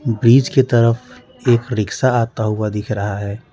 बीच की तरफ एक रिक्शा आता हुआ दिख रहा है।